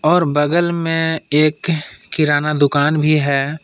और बगल में एक किराना दुकान भी है।